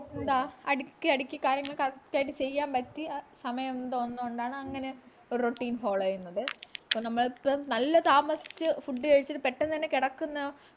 എന്താ അടുക്കി അടുക്കി കാര്യങ്ങൾ correct ആയിട്ട് ചെയ്യാൻ പറ്റി ആഹ് സമയം ന്നു തോന്നുന്നോണ്ടാണ് അങ്ങനെ routine follow ചെയ്യുന്നത് അപ്പൊ നമ്മൾക്ക് നല്ല താമസിച്ചു food കഴിച്ചിട്ട് പെട്ടന്ന് തന്നെ കിടക്കുന്ന